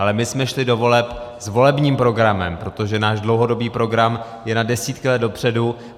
Ale my jsme šli do voleb s volebních programem, protože náš dlouhodobý program je na desítky let dopředu.